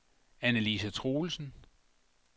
Anne-Lise Troelsen